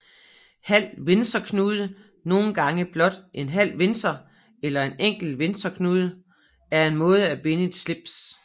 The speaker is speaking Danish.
Halv windsorknude nogle gange blot halv windsor eller enkelt windsorknude er en måde at binde et slips